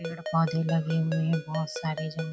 पेड़ पौधे लगे हुए है बहुत सारे जंग --